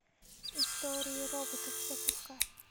истории роботов запускай